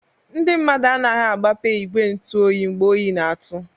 Ndị mmadụ anaghị-agbape igwe ntu oyi mgbe oyi n'atụ.